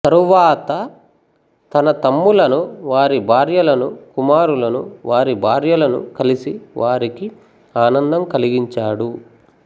తరువాత తన తమ్ములను వారి భార్యలను కుమారులను వారి భార్యలను కలిసి వారికి ఆనందము కలిగించాడు